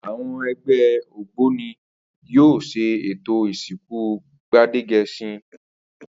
Àwo̩n e̩gbé̩ ògbóni ni yóò s̩e ètò ìsìnkú Gbádége̩s̩in